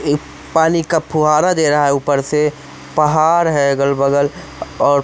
पानी का फुहारा दे रहा है ऊपर से पहाड़ है अगल बगल और--